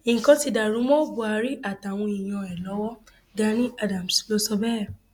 nǹkan ti dàrú mọ buhari àtàwọn èèyàn ẹ lọwọ gani adams ló sọ bẹẹ